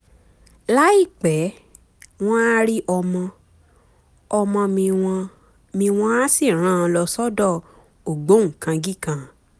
láìpẹ́ wọ́n á rí ọmọ-ọmọ mi wọ́n mi wọ́n á sì rán an lọ sọ́dọ̀ ògbóǹkangí kan